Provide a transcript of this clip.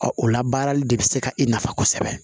o labaarali de bɛ se ka e nafa kosɛbɛ